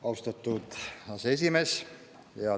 Austatud aseesimees!